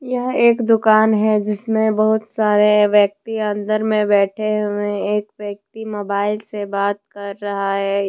यह एक दुकान है जिसमें बहुत सारे व्यक्ति अंदर में बैठे हुए एक व्यक्ति मोबाइल से बात कर रहा है।